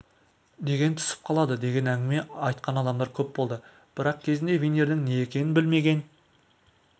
деген түсіп қалады деген әңгіме айтқан адамдар көп болды бірақ кезінде винирдің не екенін білмеген